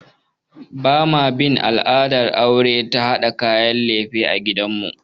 Ba ma bin al'adar aure ta haɗa kayan lefe a gidan mu